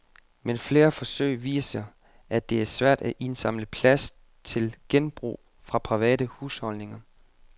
Men flere forsøg viser, at det er svært at indsamle plast til genbrug fra private husholdninger.